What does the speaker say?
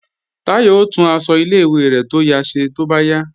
Táyọ̀ ó tún aṣọ ilé-ìwé rẹ̀ tó ya ṣe tó bá yá